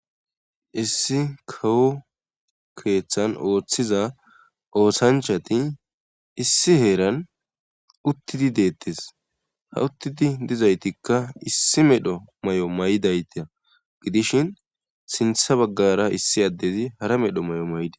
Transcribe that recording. issi kawo keeththan ooththiza ootanchati issi heeran uttidi deettes ha uttidi dizaytikka issi medho may7o may7dayte gidishin sintha baggara issi addezi hara medho may7o may7de